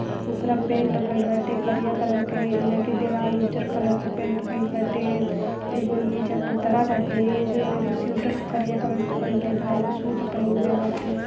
उपरा पेंट भईल बाटे करिया कलर के एइजा के देवाल उज्जर कलर के पेंट भइल बाटे एगो एइजा पूतरा बाटे जोन एगो सिउटर करिया कलर के पहीनले बा। एगो सूट पहिलने बाटे।